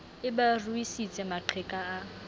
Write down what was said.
e ba ruisitse maqheka a